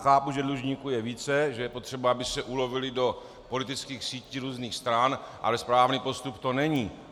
Chápu, že dlužníků je více, že je potřeba, aby se ulovili do politických sítí různých stran, ale správný postup to není.